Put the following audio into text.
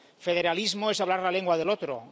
Federalismo es hablar la lengua del otro.